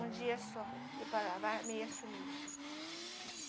Um dia só, ia para lavar e a meia sumia.